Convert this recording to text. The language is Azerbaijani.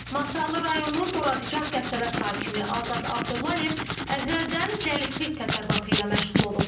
Masallı rayonu Boradigah qəsəbə sakini Azad Abdullayev əzəldən zəlilik təsərrüfatı ilə məşğul olub.